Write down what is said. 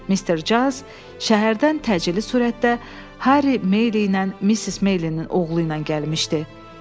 Mr. Giles şəhərdən təcili sürətdə Harry Maylie ilə Mrs. Maylie-nin oğlu ilə gəlmişdi.